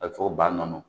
A bɛ fɔ ko ba nɔnɔ